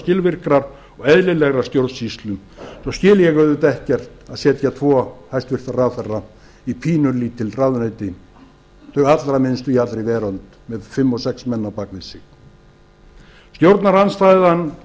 skilvirkrar og eðlilegrar stjórnsýslu svo skil ég auðvitað ekkert í því að setja tvo hæstvirtur ráðherra í pínulítil ráðuneyti þau allra minnstu í allri veröld með fimm og sex menn á bak við sig stjórnarandstaða